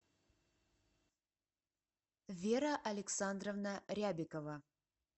вера александровна рябикова